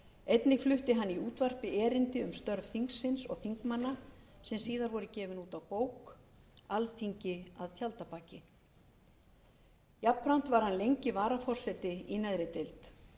einnig flutti hann í útvarpi erindi um störf þingsins og þingmanna sem síðar voru gefin út á bók alþingi að tjaldabaki jafnframt var hann lengi varaforseti í neðri deild